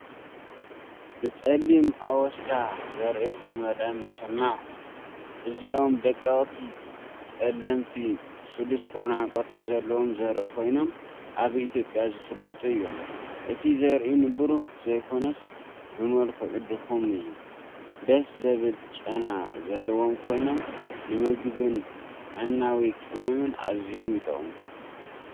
ብጸሊም ኣወስዳ ዘርኢ ዝተመልአ መሸማዕ፣ እዚኦም ደቀቕቲ፡ ጸለምቲ፡ ስሉስ ኩርናዕ ቅርጺ ዘለዎም ዘርኢ ኮይኖም፡ ኣብ ኢትዮጵያ ዝፍለጡ እዮም። እቲ ዘርኢ ንብሩህ ዘይኮነስ ብመልክዑ ድኹም እዩ። ደስ ዘብል ጨና ዘለዎም ኮይኖም ንምግብን ጥዕናዊ ቅመምን ኣዝዮም ይጠቕሙ፡፡